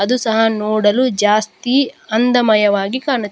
ಅದು ಸಹ ನೋಡಲು ಜಾಸ್ತಿ ಅಂದಮಯವಾಗಿ ಕಾಣುತ್ತಿದೆ.